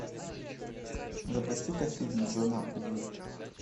запустика фильм джона ву